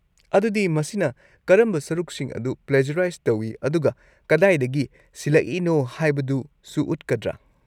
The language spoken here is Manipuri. ꯑꯗꯨꯗꯤ ꯃꯁꯤꯅ ꯀꯔꯝꯕ ꯁꯔꯨꯛꯁꯤꯡ ꯑꯗꯨ ꯄ꯭ꯂꯦꯖꯔꯥꯏꯖ ꯇꯧꯏ ꯑꯗꯨꯒ ꯀꯗꯥꯏꯗꯒꯤ ꯁꯤꯜꯂꯛꯏꯅꯣ ꯍꯥꯏꯕꯗꯨꯁꯨ ꯎꯠꯀꯗ꯭ꯔꯥ?